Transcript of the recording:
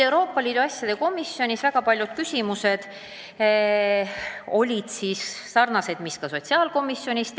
Euroopa Liidu asjade komisjonis tekkisid paljud samad küsimused, mis sotsiaalkomisjonis.